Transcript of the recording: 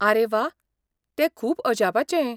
आरे वा, तें खूब अजापाचें .